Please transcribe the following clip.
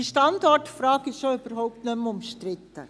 Diese Standortfrage ist schon überhaupt nicht mehr umstritten.